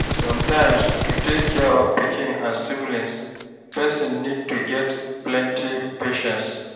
Sometimes to take care of pikin and siblings person need to get plenty patience